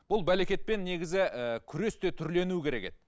бұл бәлекетпен негізі ы күрес те түрленуі керек еді